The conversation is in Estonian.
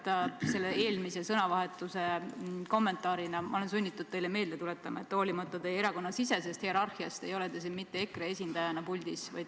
Kõigepealt selle eelmise sõnavahetuse kommentaarina: ma olen sunnitud teile meelde tuletama, et hoolimata teie erakonnasisesest hierarhiast ei ole te siin mitte EKRE esindajana saali ees.